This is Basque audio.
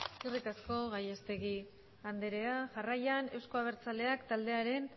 eskerrik asko gallastegi anderea jarraian eusko abertzaleak taldearen